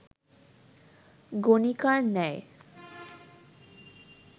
গণিকার ন্যায়